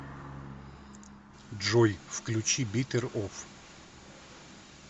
джой включи беттер оф